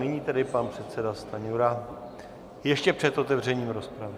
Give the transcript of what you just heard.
Nyní tedy pan předseda Stanjura ještě před otevřením rozpravy.